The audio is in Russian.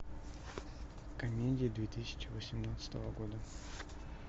комедии две тысячи восемнадцатого года